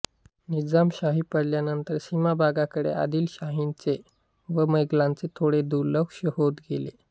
निजामशाही पडल्यानंतर सीमाभागाकडे आदिलशाहीचे व मोगलांचे थोडे दुर्लक्ष होत होते